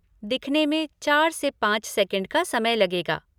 दिखने में चार से पाँच सेकंड का समय लगेगा।